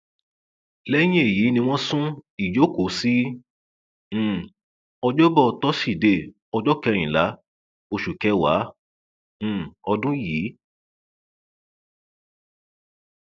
lẹyìn èyí ni wọn sún ìjókòó sí um ọjọbọ tọsídẹẹ ọjọ kẹrìnlá oṣù kẹwàá um ọdún yìí